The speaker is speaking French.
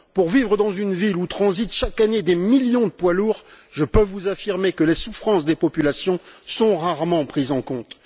Pour vivre dans une ville où transitent chaque année des millions de poids lourds, je peux vous affirmer que les souffrances des populations sont rarement prises en compte.